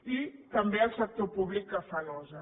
i també el sector públic que fa nosa